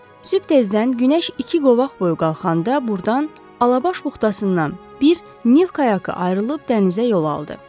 Sübh tezdən günəş iki qovaq boyu qalxanda burdan, Alabaş buxtasından bir Nif kayakı ayrılıb dənizə yol aldı.